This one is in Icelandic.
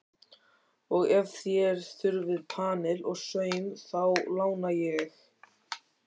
Og ef þér þurfið panil og saum, þá lána ég.